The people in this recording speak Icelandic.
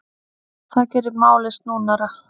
Það geri málið snúnara.